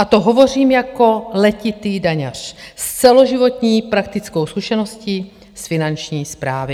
A to hovořím jako letitý daňař s celoživotní praktickou zkušeností z Finanční správy.